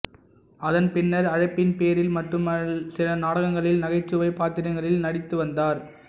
அதன் பின்னர் அழைப்பின் பேரில் மட்டும் சில நாடகங்களில் நகைச்சுவைப் பாத்திரங்களில் நடித்து வந்தார்